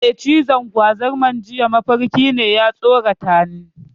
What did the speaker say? Eh, cizon gwazarmar jiya mafarki ne, ya tsoratani.